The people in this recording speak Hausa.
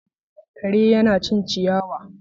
Kare yana cin ciyawa.